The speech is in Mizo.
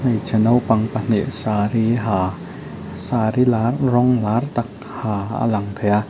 hmeichhe naupang pahnih saree ha saree lar rawng lar tak ha a lang thei a.